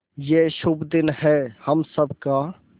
ये शुभ दिन है हम सब का